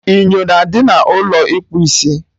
Inyo na adị n'ụlọ ịkpụ isi